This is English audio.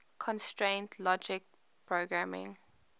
constraint logic programming